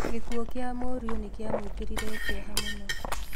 Gĩkuo kĩa mũriũ nĩkĩamuĩkĩrire kĩeha mũno